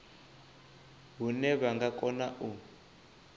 hune vha nga kona u